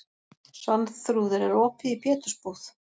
Svanþrúður, er opið í Pétursbúð?